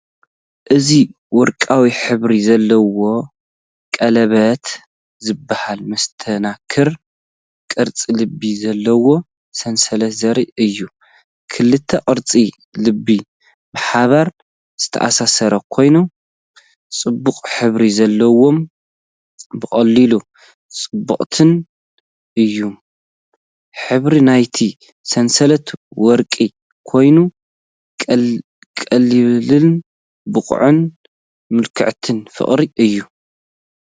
እዚ ወርቃዊ ሕብሪ ዘለዎ ቀለቤት ዝመስል መስተንክር ቅርጺ ልቢ ዘለዎ ሰንሰለት ዘርኢ እዩ። ክልተ ቅርጺ ልቢ ብሓባር ዝተኣሳሰሩ ኮይኖም፡ ጽቡቕ ሕብሪ ዘለዎምን ብቐሊሉ ጽቡቓትን እዮም። ሕብሪ ናይቲ ሰንሰለት ወርቂ ኮይኑ፡ ቀሊልን ውቁብን ምልክት ፍቕሪ እዩ።